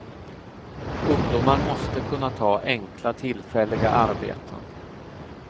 Ungdomar måste kunna ta enkla tillfälliga arbeten.